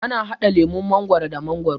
ana hada lemun mangwaro da mangwaro